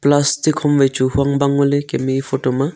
plastic ham wai chu eya photo ma.